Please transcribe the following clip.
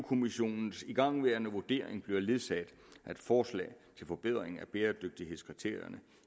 kommissionens igangværende vurdering bliver ledsaget af et forslag til forbedring af bæredygtighedskriterierne